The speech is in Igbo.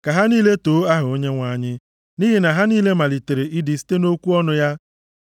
Ka ha niile too aha Onyenwe anyị, nʼihi na ha niile malitere ịdị site nʼokwu ọnụ ya.